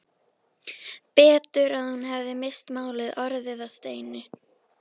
Betur að hún hefði misst málið, orðið að steini.